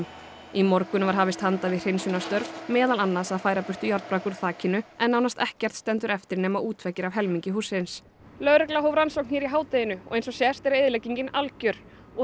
í morgun var hafist handa við hreinsunarstörf meðal annars að færa burtu járnbrak úr þakinu en nánast ekkert stendur eftir nema útveggir af helmingi hússins lögregla hóf rannsókn í hádeginu og eins og sést er eyðileggingin algjör og